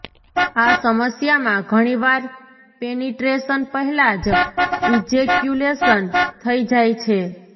આ સમસ્યામાં ઘણીવાર પેનિટ્રેશન પહેલા જ ઈજેક્યુલેશન થઈ જાય છે